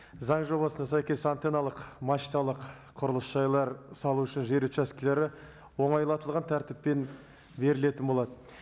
заң жобасына сәйкес антенналық мачталық құрылыс жайлар салу үшін жер учаскілері оңайлатылған тәртіппен берілетін болады